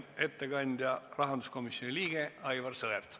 Ettekandja on rahanduskomisjoni liige Aivar Sõerd.